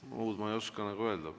Muud ma ei oska öelda.